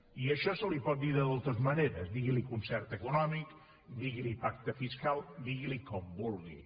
i a això se li pot dir de moltes maneres digui li concert econòmic digui li pacte fiscal digui li com vulgui